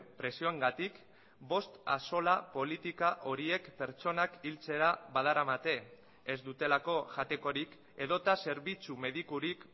presioengatik bost axola politika horiek pertsonak hiltzera badaramate ez dutelako jatekorik edota zerbitzu medikurik